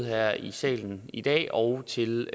her i salen i dag og til